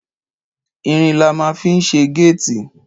Ìrín là mà ń fi sẹ gẹtì